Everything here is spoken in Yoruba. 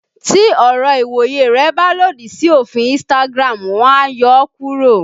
Tí ọ̀rọ̀ ìwòye rẹ bá lòdì sí òfin Instagram, wọ́n á yọ ọ́ kúrò